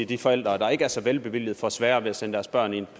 de forældre der ikke er så velstillede får sværere ved at sende deres børn i